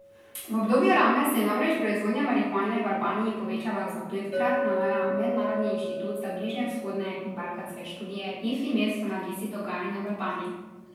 V obdobju Rame se je namreč proizvodnja marihuane v Albaniji povečala za petkrat, navaja Mednarodni inštitut za bližnjevzhodne in balkanske študije Ifimes v analizi dogajanja v Albaniji.